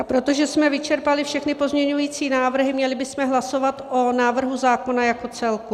A protože jsme vyčerpali všechny pozměňující návrhy, měli bychom hlasovat o návrhu zákona jako celku.